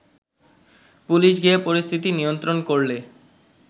police গিয়ে পরিস্থিতি নিয়ন্ত্রণ করলে